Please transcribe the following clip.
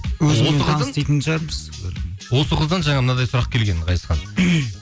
осы қыздан жаңа мынандай сұрақ келген ғазизхан